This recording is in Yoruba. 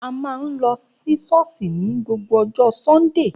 A máa ń lọ sí ṣọ́ọ̀ṣì ní gbogbo ọjọ́ Sunday